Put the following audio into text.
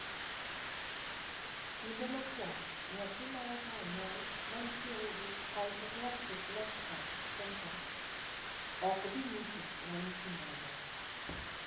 Kinde mokuongo nyathi maeka onyuol manitiere gi Hypoplastic left heart syndrome okdhinyiso ranyisi moramora.